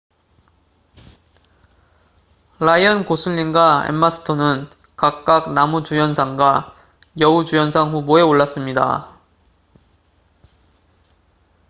라이언 고슬링과 엠마 스톤은 각각 남우주연상과 여우주연상 후보에 올랐습니다